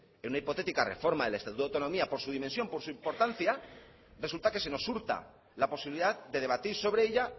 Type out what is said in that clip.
en una hipotética reforma del estatuto de autonomía por su dimensión por su importancia resulta que se nos hurta la posibilidad de debatir sobre ella